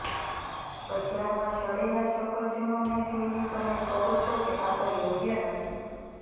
બજારમાં સડેલા સફરજનોને જોઇને તમે કહો છો કે આ તો યોગ્ય નથી